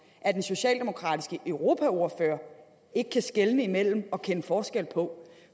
at den socialdemokratiske europaordfører ikke kan skelne mellem og kende forskel på